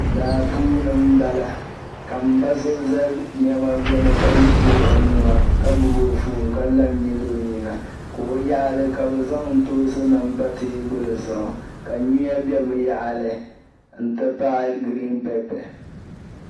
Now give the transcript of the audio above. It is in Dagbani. Daa puuni m-bala ka m-ba so za nɛma gbuni ka wuɣi o nua ka gbubi o foon ka la n-nyili o nyina ka o yaɣili ka bɛ zaŋ ntoonsinima pa teebuli zuɣu ka nyuya be bɛ yaɣili n-ti pahi giriinpɛpɛ.